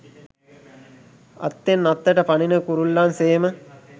අත්තෙන් අත්තට පනින කුරුල්ලන් සේම